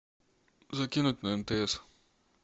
закинуть на мтс